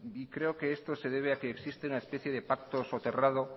creo que esto se debe a que existe una especie de pacto soterrado